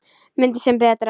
Myndir sem breyta